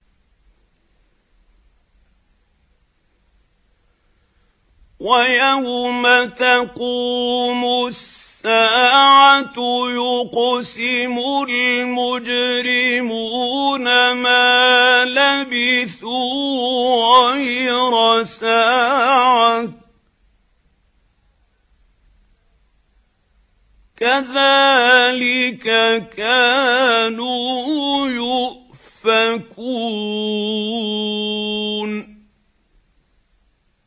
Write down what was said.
وَيَوْمَ تَقُومُ السَّاعَةُ يُقْسِمُ الْمُجْرِمُونَ مَا لَبِثُوا غَيْرَ سَاعَةٍ ۚ كَذَٰلِكَ كَانُوا يُؤْفَكُونَ